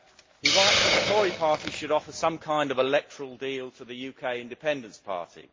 He writes that the Tory Party should offer some kind of electoral deal to the UK Independence Party.